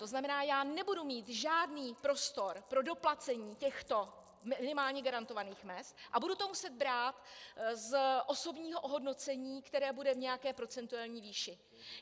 To znamená, já nebudu mít žádný prostor pro doplacení těchto minimálních garantovaných mezd a budu to muset brát z osobního ohodnocení, které bude v nějaké procentuální výši.